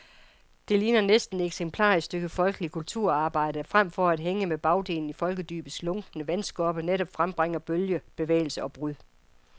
Det ligner næsten et eksemplarisk stykke folkeligt kulturarbejde, der fremfor at hænge med bagdelen i folkedybets lunkne vandskorpe netop frembringer bølger, bevægelse og brud.